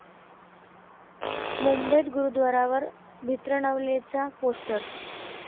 मुंबईत गुरूद्वारावर भिंद्रनवालेचं पोस्टर!